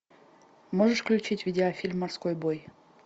можешь включить видеофильм морской бой